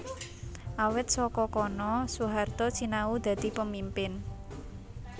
Awit saka kono Soehaarto sinau dadi pemimpin